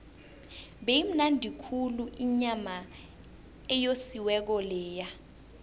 beyimnandi khulu inyama eyosiweko leya